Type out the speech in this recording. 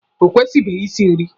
Ọ kwụsịbeghi isi nri.